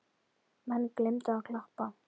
Menn gleymdu að klappa.